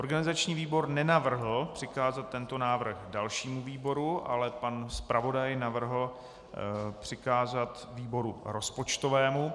Organizační výbor nenavrhl přikázat tento návrh dalšímu výboru, ale pan zpravodaj navrhl přikázat výboru rozpočtovému.